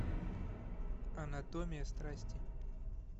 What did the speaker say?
анатомия страсти